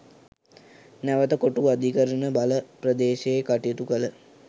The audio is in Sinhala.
නැවත කොටුව අධිකරණ බල ප්‍රදේශයේ කටයුතු කළ